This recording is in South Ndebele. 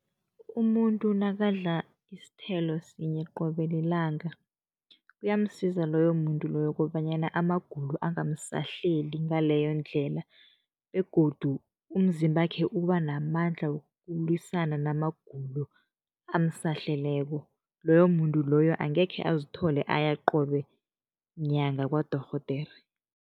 Umuntu nakadla isithelo sinye qobe lilanga, kuyamsiza loyo muntu loyo kobanyana amagulo angamsahleli ngaleyo ndlela begodu umzimbakhe uba namandla wokulwisana namagulo amsahleleko, loyo muntu loyo angekhe azithole aya qobe nyanga kwadorhodere.